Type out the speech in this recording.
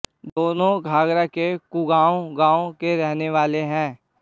दोनों घाघरा के कुगांव गांव के रहने वाले है